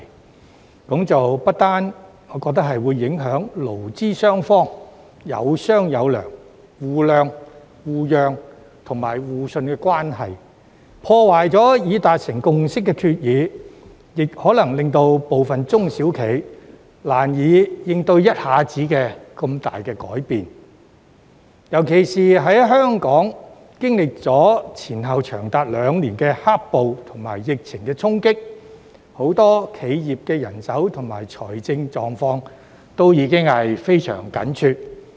我認為這不但會影響勞資雙方有商有量、互諒、互讓和互信的關係，破壞已達成的共識，還可能令部分中小企難以適應突如其來的重大改變，尤其是在香港經歷前後長達兩年的"黑暴"和疫情的衝擊後，很多企業的人手和財政狀況已經變得非常緊絀。